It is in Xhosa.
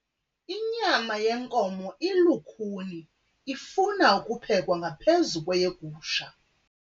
Inyama yenkomo ilukhuni ifuna ukuphekwa ngaphezu kweyegusha.